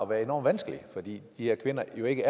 være enorm vanskelig for de her kvinder er ikke